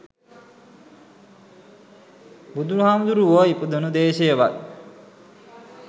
බුදු හාමුදුරුවෝ ඉපදුන දේශයවත්